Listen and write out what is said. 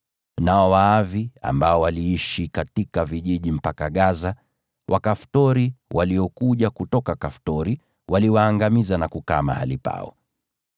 Nao Waavi ambao waliishi katika vijiji mpaka Gaza, Wakaftori waliokuja kutoka Kaftori waliwaangamiza na kukaa mahali pao.)